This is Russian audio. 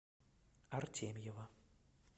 артемьева